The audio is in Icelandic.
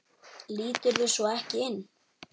Líturðu svo ekki inn?